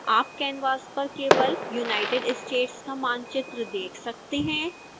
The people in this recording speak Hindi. आप canvas पर केवल united states का मानचित्र देख सकते हैं